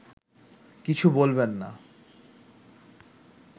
কিছু বলবেন না